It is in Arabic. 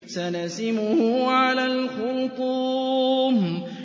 سَنَسِمُهُ عَلَى الْخُرْطُومِ